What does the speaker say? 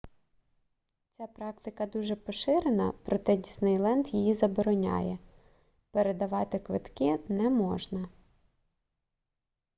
ця практика дуже поширена проте діснейленд її забороняє передавати квитки не можна